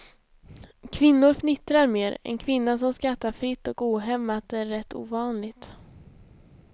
Kvinnor fnittrar mera, en kvinna som skrattar fritt och ohämmat är rätt ovanlig.